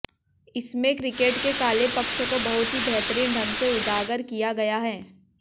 इसमें क्रिकेट के काले पक्ष को बहुत ही बेहतरीन ढंग से उजागर किया गया है